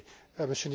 national